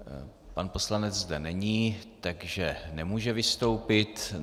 Pan poslanec zde není, takže nemůže vystoupit.